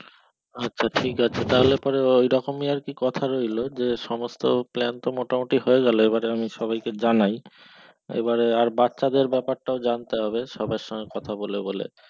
আছে ঠিক আছে তাহলে ওরকমই আর কি কথা রইলো যে সমস্ত plan তো মোটামোটি হয়ে গেল এবারে আমি সবাই কে জানাই এবারে বাচ্চাদের ব্যাপারটাও জানতে হবে সবার সঙ্গে কথা বলে বলে